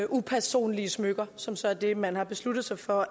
upersonlige smykker som så er det man har besluttet sig for